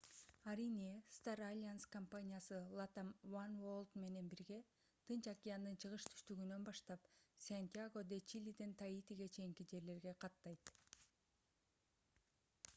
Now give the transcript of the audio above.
арийне star alliance компаниясы latam oneworld менен бирге тынч океандын чыгыш-түштүгүнөн баштап сантьяго-де-чилиден таитиге чейинки жерлерге каттайт